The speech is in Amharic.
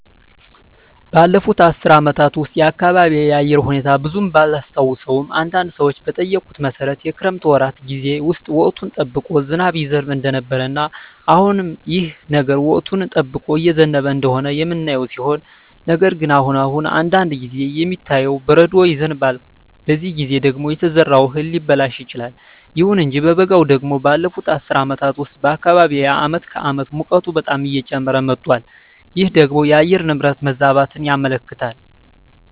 ባለፉት አስር አመታት ውስጥ የአካባቢየ የአየር ሁኔታ ብዙም ባላስታውሰውም አንዳንድ ሰዎችን በጠየኩት መሠረት የክረምት ወራት ጌዜ ውስጥ ወቅቱን ጠብቆ ዝናብ ይዘንብ እንደነበረ እና አሁንም ይህ ነገር ወቅቱን ጠብቆ እየዘነበ እንደሆነ የምናየው ሲሆን ነገር ግን አሁን አሁን አንዳንድ ጊዜ የሚታየው በረዶ ይዘንባል በዚህ ጊዜ ደግሞ የተዘራው እህል ሊበላሽ ይችላል። ይሁን እንጂ በበጋው ደግሞ ባለፋት አስር አመታት ውስጥ በአካባቢየ አመት ከአመት ሙቀቱ በጣም እየጨመረ መጧል ይህ ደግሞ የአየር ንብረት መዛባትን ያመለክታል